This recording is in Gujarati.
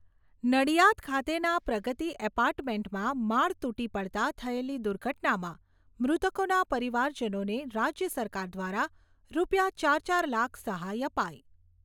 નડિયાદ ખાતેના પ્રગતિ એપાર્ટમેન્ટમાં માળ તૂટી પડતાં થયેલી દુર્ઘટનામાં મૃતકોના પરિવારજનોને રાજ્ય સરકાર દ્વારા રૂપિયા ચાર ચાર લાખ સહાય અપાઈ.